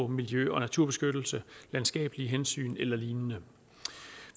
miljø og naturbeskyttelse landskabelige hensyn eller lignende